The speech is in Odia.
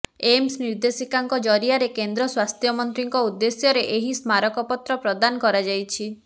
ଏମ୍ସ ନିର୍ଦ୍ଦେଶିକାଙ୍କ ଜରିଆରେ କେନ୍ଦ୍ର ସ୍ୱାସ୍ଥ୍ୟମନ୍ତ୍ରୀଙ୍କ ଉଦ୍ଦେଶ୍ୟରେ ଏହି ସ୍ମାରକ ପତ୍ର ପ୍ରଦାନ କରାଯାଇଛି